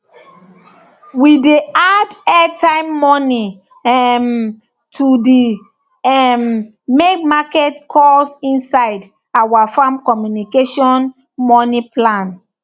we dey add airtime money um to dey um make market calls inside our farm communication money plan